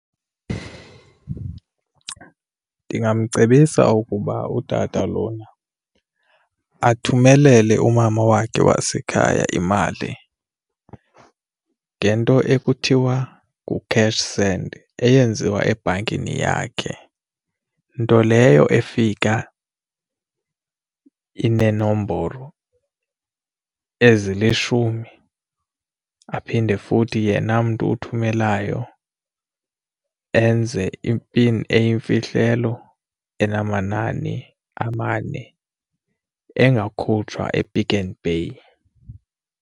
Ndingamcebisa ukuba utata lona athumelele umama wakhe wasekhaya imali ngento ekuthiwa ngu-cash send, eyenziwa ebhankini yakhe nto leyo efika ineenombolo ezilishumi. Aphinde futhi yena mntu uthumelelayo enze i-pin eyimfihlelo enamanani amane engakhutshwa ePick n Pay.